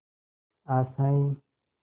आशाएं